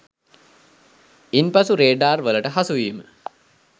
ඉන් පසු රේඩාර් වලට හසුවීම